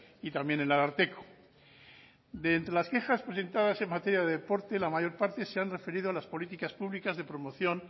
y también el ararteko de entre las quejas presentadas en materia de deporte la mayor parte se han referido a las políticas públicas de promoción